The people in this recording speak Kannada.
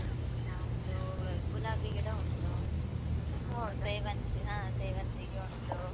ನಮ್ದು ಗುಲಾಬಿ ಗಿಡ ಉಂಟು. ಹ ಸೇವಂತಿಗೆ ಉಂಟು.